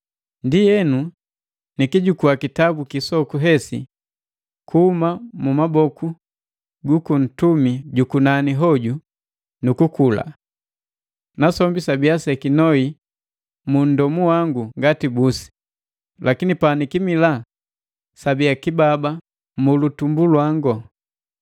Ndienu, nikijukua kitabu kisoku hesi kuhuma mu maboku gaka nntumi ju kunani hoju, nu kukula. Nasombi sabia sekinoi mu nndomu wangu ngati busi, lakini panikimila sabia kibaba mu litumbu langu.